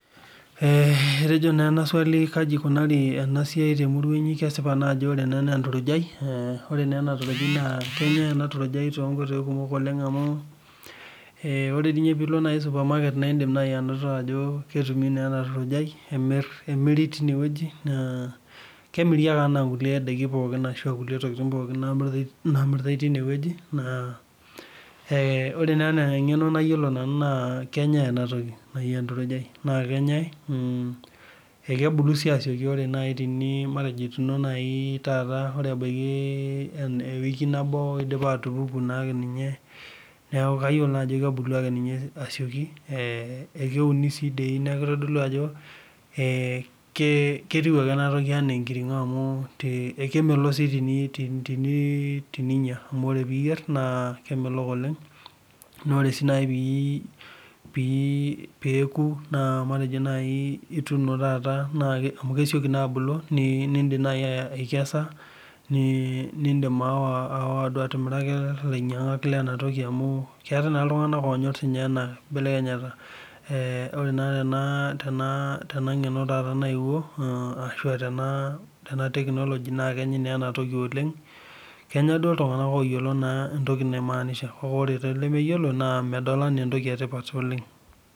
Eh etejo naa ena swali[vs] kaji ikunari ena siai temurua inyi kesipa naa ajo ore ena nenturujai eh ore neena turujai naa kenyae ena turujai tonkoitoi kumok oleng amu amu eh ore di ninye piilo naai supermarket naindim naai anoto ajo ketumi neena turujai emirr emiri tineweji naa kemiri ake anaa nkulie daiki pookin ashua kulie tokitin namiritae tinewueji naa eh ore naa enaa eng'eno nayiolo nanu naa kenyae enatoki naai enturujai naa kenyae ekebulu sii asioki ore naai tini matejo ituno naai taata ore ebaiki ewiki nabo idipa atupuku naake ninye neeku kayiolo naa ajo kebulu ake ninye asioki eh ekeuni sii dei neku kitodolu ajo eh ke ketiu ake enatoki enaa enkirng'o amu te ekemelo sii tini tininyia amu ore piyierr naa kemelok oleng nore sii naai pii peeku naa matejo naai ituno taata naake amu kesioki naa abulu ni nindim naai aikesa ni nindim aawa aawa duo atimiraki ilainyiang'ak lenatoki amu keetae naa iltung'anak onyorr siinye ena kibelekenyata eh ore naa tena tena ng'eno taata naewuo mh ashua tena tena technology naakenyi nenatoki oleng kenya duo iltung'anak oyiolo naa entoki naimanisha kake ore tolemeyiolo medol enaa entoki etipat oleng.